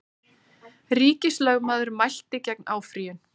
Ríkislögmaður mælti gegn áfrýjun